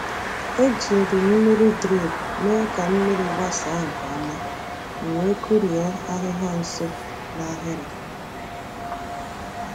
E jiri mmiri drip mee ka mmiri gbasaa nke ọma, m wee kụrie ahịhịa nso n’ahịrị.